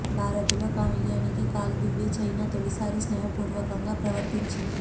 భారత్ తో కయ్యానికి కాలుదువ్వే చైనా తొలిసారి స్నేహపూర్వకంగా ప్రవర్తించింది